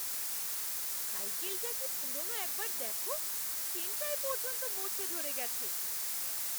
সাইকেলটা কি পুরনো একবার দেখো, চেনটায় পর্যন্ত মরচে ধরে গেছে।